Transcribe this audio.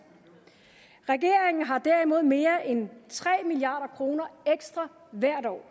regeringen har derimod mere end tre milliard kroner ekstra hvert år